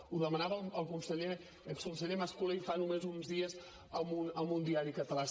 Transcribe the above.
ho demanava el conseller l’exconseller mas colell fa només uns dies en un diari català